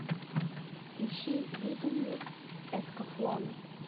ищи видение эскафлона